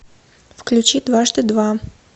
включи дважды два